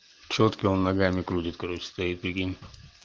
чётки он ногами крутят короче стоит прикинь